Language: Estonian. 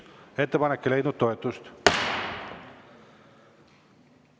Ettepanek ei leidnud toetust.